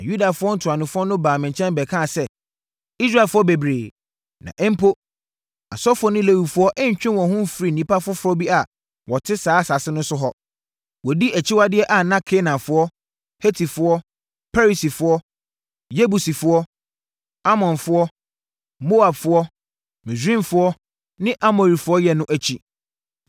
Na Yudafoɔ ntuanofoɔ no baa me nkyɛn bɛkaa sɛ, “Israelfoɔ bebree, na mpo, asɔfoɔ ne Lewifoɔ ntwee wɔn ho mfirii nnipa afoforɔ bi a wɔte asase no so no ho. Wɔdi akyiwadeɛ a na Kanaanfoɔ, Hetifoɔ, Perisifoɔ, Yebusifoɔ, Amonfoɔ, Moabfoɔ, Misraimfoɔ ne Amorifoɔ yɛ no akyi.